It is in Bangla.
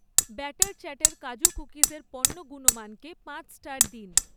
ব্যাটার চ্যাটার কাজু কুকিজের পণ্য গুণমানকে পাঁচ স্টার দিন